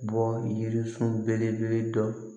Bɔ yirisun belebele dɔ